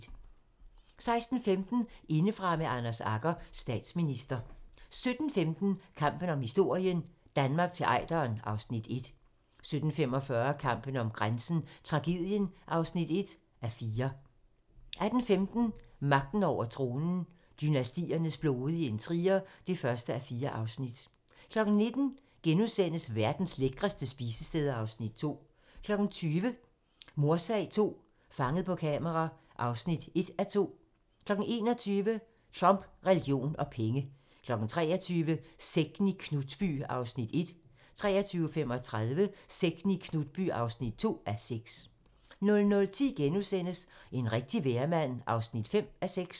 16:15: Indefra med Anders Agger - Statsminister 17:15: Kampen om historien - Danmark til Ejderen (Afs. 1) 17:45: Kampen om grænsen - Tragedien (1:4) 18:15: Magten over tronen - dynastiernes blodige intriger (1:4) 19:00: Verdens lækreste spisesteder (Afs. 2)* 20:00: Mordsag II - Fanget på kamera (1:2) 21:00: Trump, religion og penge 23:00: Sekten i Knutby (1:6) 23:35: Sekten i Knutby (2:6) 00:10: En rigtig vejrmand (5:6)*